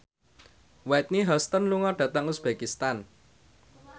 Whitney Houston lunga dhateng uzbekistan